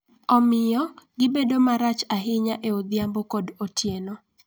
Omiyo, gibedo marach ahinya e odhiambo kod otieno.